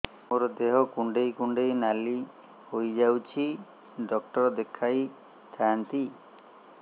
ମୋର ଦେହ କୁଣ୍ଡେଇ କୁଣ୍ଡେଇ ନାଲି ହୋଇଯାଉଛି ଡକ୍ଟର ଦେଖାଇ ଥାଆନ୍ତି